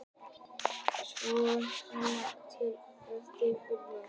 Rétt svör og nöfn vinningshafa verða birt fyrir helgi.